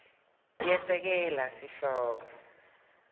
yesekela sihloko